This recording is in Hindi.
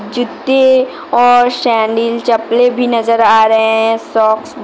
जूत्ते और सैंडील चप्पले भी नजर आ रहे हैं सॉक्स भी --